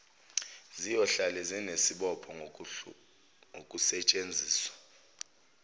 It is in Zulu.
ziyohlale zinesibopho ngokusetshenziswa